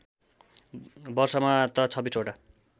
वर्षमा त २६ वटा